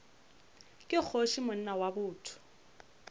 ke kgoši monna wa botho